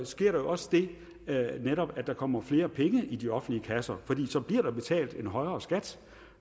sker der også det at der netop kommer flere penge i de offentlige kasser for så bliver der betalt en højere skat